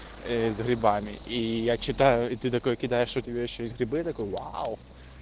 грибами и я читаю и ты такой кидаешь у тебя ещё есть грибы такой вау